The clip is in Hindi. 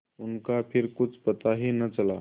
उनका फिर कुछ पता ही न चला